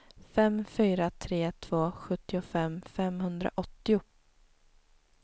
fem fyra tre två sjuttiofem femhundraåttio